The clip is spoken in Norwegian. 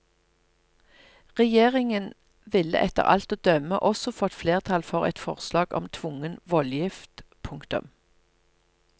Regjeringen ville etter alt å dømme også fått flertall for et forslag om tvungen voldgift. punktum